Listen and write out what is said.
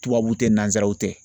Tubabu tɛ nanzaraw tɛ.